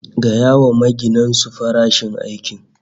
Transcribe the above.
Gaya wa maginan su fara aikin